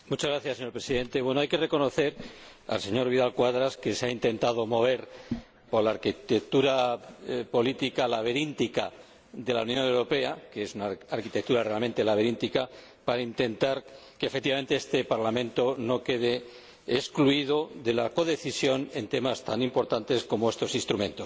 Señor Presidente, hay que reconocerle al señor Vidal Quadras que se haya intentado mover por la arquitectura política laberíntica de la Unión Europea —que es una arquitectura realmente laberíntica— para intentar que, efectivamente, este Parlamento no quede excluido de la codecisión en temas tan importantes como estos instrumentos.